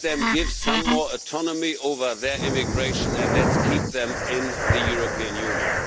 Give some more autonomy over their immigration and let's keep them in the European Union.